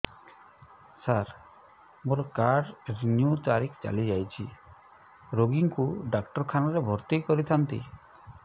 ସାର ମୋର card renew ତାରିଖ ଚାଲି ଯାଇଛି ରୋଗୀକୁ ଡାକ୍ତରଖାନା ରେ ଭର୍ତି କରିଥାନ୍ତି